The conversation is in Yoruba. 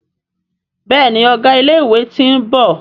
Béèni Ọgá ilé ìwé t'in bò